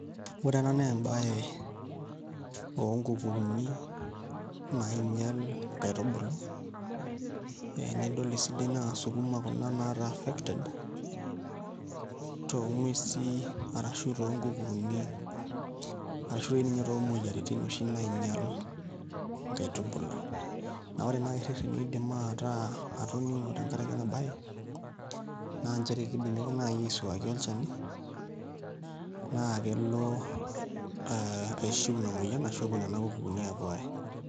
Ore ena nebae onkukuuni nainyel inkaitubulu. Enidol esidai naa sukuma kuna nataa affected, tong'uesi arashu tonkukuuni. Arashu toi ninye tomoyiaritin oshi nainyal inkaitubulu. Na ore nai irrerreni oidim ataa atoning'o tenkaraki enabae, naa njere kidimi ake nai aisuaki olchani, na kelo aishiu ina moyian, ashu epuo nena kukuuni apuo ae.